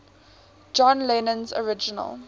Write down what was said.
john lennon's original